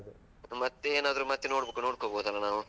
ಮತ್ತೆ ಏನಾದ್ರು ಮತ್ತೆ ನೋಡ್ಕೋ ನೋಡ್ಕೋಬೋದಲ್ವಾ ನಾವು.